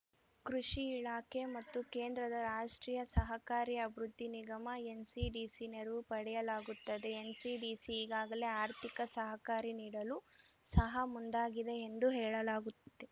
ಕೃಷಿ ಇಲಾಖೆ ಮತ್ತು ಕೇಂದ್ರದ ರಾಷ್ಟ್ರೀಯ ಸಹಕಾರಿ ಅಭಿವೃದ್ಧಿ ನಿಗಮ ಎನ್‌ಸಿಡಿಸಿ ನೆರವು ಪಡೆಯಲಾಗುತ್ತದೆ ಎನ್‌ಸಿಡಿಸಿ ಈಗಾಗಲೇ ಆರ್ಥಿಕ ಸಹಕಾರಿ ನೀಡಲು ಸಹ ಮುಂದಾಗಿದೆ ಎಂದು ಹೇಳಲಾಗುತ್ತಿದೆ